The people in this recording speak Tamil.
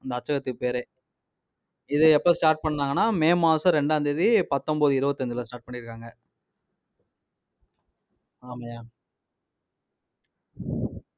இந்த அச்சகத்துக்கு பேரே, இதை எப்ப start பண்ணாங்கன்னா, மே மாசம் ரெண்டாம் தேதி பத்தொன்பது இருவத்தஞ்சுல start பண்ணியிருக்காங்க. ஆமாய்யா